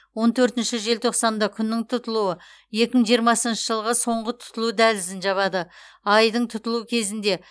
он төртінші желтоқсанда күннің тұтылуы екі мың жиырмасыншы жылғы соңғы тұтылу дәлізін жабады айдың тұтылуы кезінде